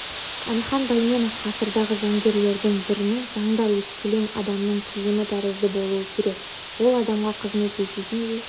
әлихан бәйменов ғасырдағы заңгерлердің бірінің заңдар өскелең адамның киімі тәрізді болуы керек ол адамға қызмет ететіндей